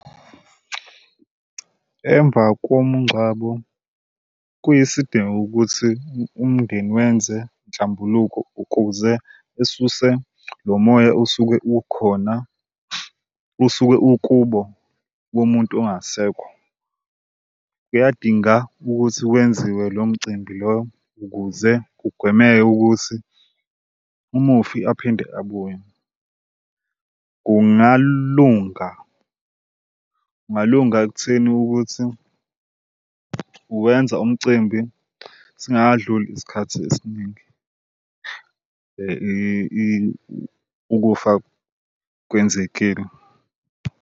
Emva komngcwabo kuyisidingo ukuthi umndeni wenze inhlambuluko ukuze esuse lo moya usuke ukhona usuke ukubo komuntu ongasekho. Kuyadinga ukuthi kwenziwe lo mcimbi lo ukuze kugwemeke ukuthi umufi aphinde abuye. Kungalunga, kungalunga ekutheni ukuthi uwenza umcimbi singakadluli isikhathi esiningi ukufa kwenzekile.